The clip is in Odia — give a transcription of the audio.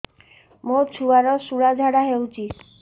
ମୋ ଛୁଆର ସୁଳା ଝାଡ଼ା ହଉଚି